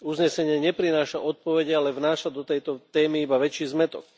Uznesenie neprináša odpovede, ale vnáša do tejto témy iba väčší zmätok.